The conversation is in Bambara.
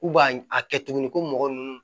U b'a a kɛ tuguni ko mɔgɔ nunnu